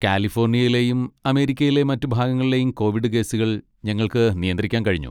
കാലിഫോർണിയയിലെയും അമേരിക്കയിലെ മറ്റ് ഭാഗങ്ങളിലെയും കോവിഡ് കേസുകൾ ഞങ്ങൾക്ക് നിയന്ത്രിക്കാൻ കഴിഞ്ഞു.